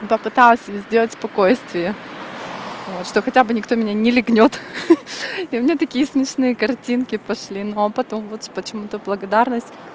попыталась сделать спокойствие что хотя бы никто меня не лягнёт и у меня такие смешные картинки пошли но потом вот почему-то благодарность